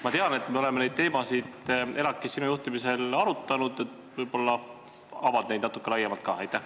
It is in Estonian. Ma tean, et me oleme neid teemasid ELAK-is sinu juhtimisel arutanud, võib-olla avad seda natuke laiemalt ka?